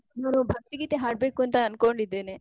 ನಾನು ಭಕ್ತಿ ಗೀತೆ ಹಾಡ್ಬೇಕು ಅಂತ ಅಂದ್ಕೊಂಡಿದ್ದೇನೆ.